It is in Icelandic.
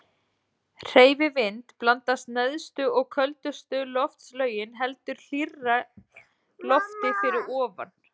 Lykillinn að leiðangri Nansens var að fá skip sem gæti þolað þrýsting íssins.